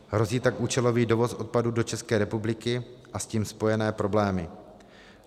Hrozí tak účelový dovoz odpadů do České republiky a s tím spojené problémy.